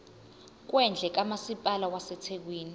kwendle kamasipala wasethekwini